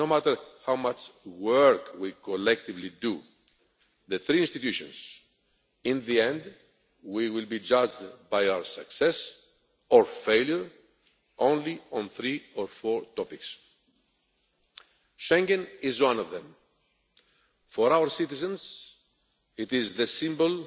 No matter how much work we collectively do in the three institutions, in the end, we will be judged by our success or failure only on three or four topics. Schengen is one of them. For our citizens, it is the symbol